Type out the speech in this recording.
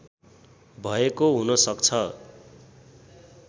भएको हुन सक्छ